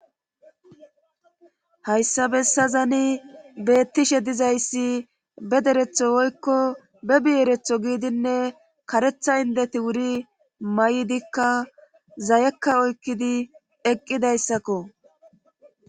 Hayssa bessazani beettishe dizayssi be deretho woykko be bieretho giidinne karetha indeti wuri ma7idikka zayekka oykkidi eqqidayssakko